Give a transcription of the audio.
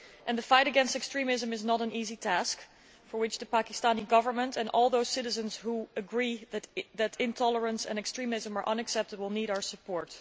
The fight against extremism is not an easy task, which is why the Pakistani Government and all those citizens who agree that intolerance and extremism are unacceptable need our support.